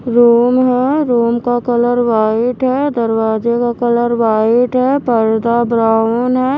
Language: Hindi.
रूम है रूम का कलर वाइट है दरवाजे का कलर वाइट है पर्दा ब्राउन है।